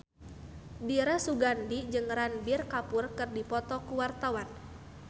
Dira Sugandi jeung Ranbir Kapoor keur dipoto ku wartawan